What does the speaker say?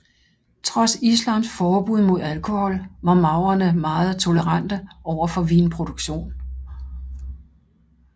Trods islams forbud mod alkohol var maurerne meget tolerante over for vinproduktion